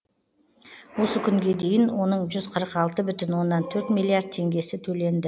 осы күнге дейін оның жүз қырық алты бүтін оннан төрт миллиард теңгесі төленді